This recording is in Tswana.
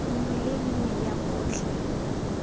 nngwe le nngwe ya botlhe